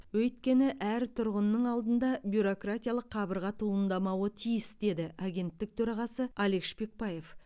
өйткені әр тұрғынның алдында бюрократиялық қабырға туындамауы тиіс деді агенттік төрағасы алик шпекбаев